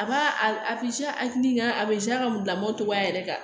A b'a a a tigi ka a ka bila mɔɔ togoya yɛrɛ kan